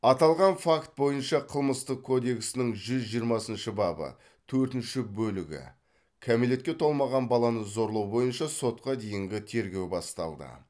аталған факт бойынша қылмыстық кодексінің жүз жиырмасыншы бабы төртінші бөлігі кәмелетке толмаған баланы зорлау бойынша сотқа дейінгі тергеу басталды